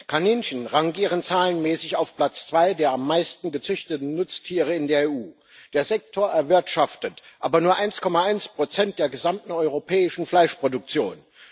Kaninchen rangieren zahlenmäßig auf Platz zwei der am meisten gezüchteten Nutztiere in der EU. Der Sektor erwirtschaftet aber nur 1,1 der gesamten europäischen Fleischproduktion.